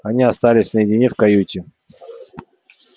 они остались наедине в каюте